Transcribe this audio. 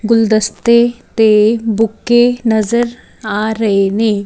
ਗੁਲਦਸਤੇ ਤੇ ਬੁੱਕੇ ਨਜ਼ਰ ਆ ਰਹੇ ਨੇ।